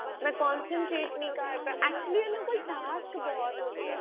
ਮੈਂ concentrate ਕੀ ਕਰ actually ਉਹਨਾਂ ਕੋਲ task ਬਹੁਤ ਹੋ ਗਿਆ